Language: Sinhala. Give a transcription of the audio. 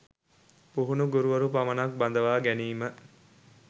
පුහුණු ගුරුවරු පමණක් බඳවා ගැනීම